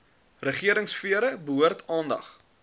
regeringsfere behoort aandag